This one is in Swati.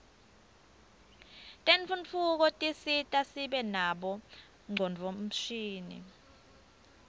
tentfutfuko tisisita sibe nabo ngcondvomshini